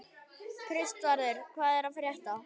Kristvarður, hvað er að frétta?